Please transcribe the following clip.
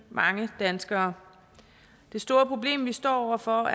mange danskere det store problem vi står over for